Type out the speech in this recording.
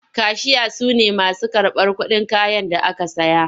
Kashiya su ne masu karɓar kuɗin kayan da aka saya.